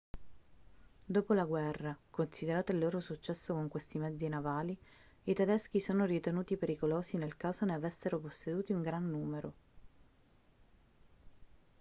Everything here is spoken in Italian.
dopo la guerra considerato il loro successo con questi mezzi navali i tedeschi sono ritenuti pericolosi nel caso ne avessero posseduti un gran numero